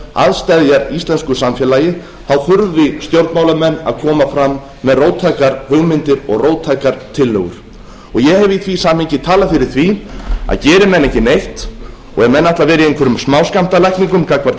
að steðjar íslensku samfélagi þurfi stjórnmálamenn að koma fram með róttækar hugmyndir og róttækar tillögur ég hef í því samhengi talað fyrir því að geri menn ekki neitt og ef menn ætla að vera í einhverjum smáskammtalækningum gagnvart